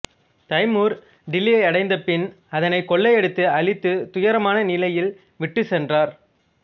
Timur டில்லியை அடைந்த பின் அதனை கொள்ளையடித்து அழித்து துயரமான நிலையில் விட்டுச் சென்றார்